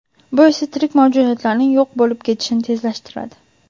bu esa tirik mavjudotlarning yo‘q bo‘lib ketishini tezlashtiradi.